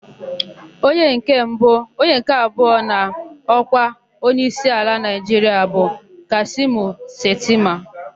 Onye nke abụọ n'ọkwa onyeisi ala Naịjiria bụ Kashimu Shetima.